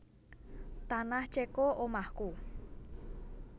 Tanah Ceko omahku